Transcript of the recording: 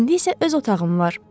İndi isə öz otağım var.